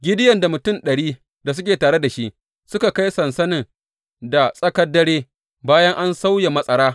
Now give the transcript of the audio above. Gideyon da mutum ɗari da suke tare da shi suka kai sansanin da tsakar dare bayan an sauya matsara.